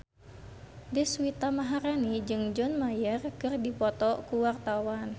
Deswita Maharani jeung John Mayer keur dipoto ku wartawan